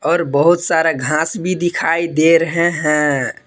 और बहुत सारा घास भी दिखाई दे रहे हैं।